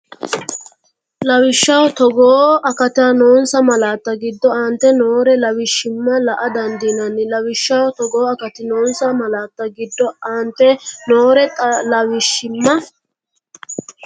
Lawishshaho Togoo akati noonsa malaatta giddo aante noore lawishshimma la”a dandiinani Lawishshaho Togoo akati noonsa malaatta giddo aante noore lawishshimma.